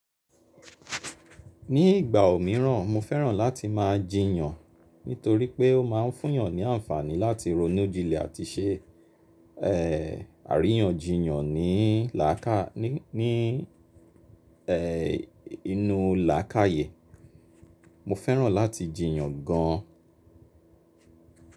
Ní ìgbà òmíràn mo fẹ́ràn láti máa jiyàn nítorí pé ó ma fún yàn ní ànfàní láti ronú jínlẹ àti se, ẹ́, àríyànjiyàn ní làákà, ní, ẹ́, inú làákàyè. Mo fẹ́ràn láti jiyàn gan.